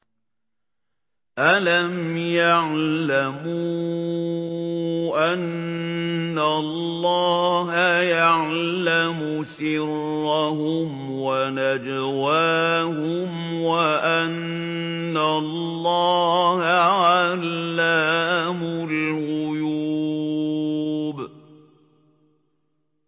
أَلَمْ يَعْلَمُوا أَنَّ اللَّهَ يَعْلَمُ سِرَّهُمْ وَنَجْوَاهُمْ وَأَنَّ اللَّهَ عَلَّامُ الْغُيُوبِ